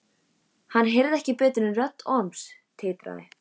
Hann heyrði ekki betur en rödd Orms titraði.